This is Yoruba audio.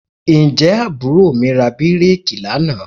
Ǹjẹ́ àbúrò mi ra bíréèkì mìíràn lánàá?